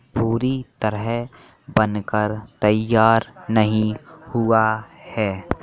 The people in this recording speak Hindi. पूरी तरह बनकर तईयार नहीं हुआ है।